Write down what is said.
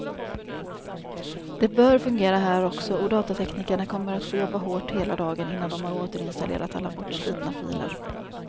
Det bör fungera här också, och datateknikerna kommer att få jobba hårt hela dagen innan de har återinstallerat alla bortslitna filer.